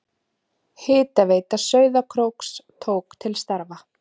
Hitaveita Sauðárkróks tók til starfa.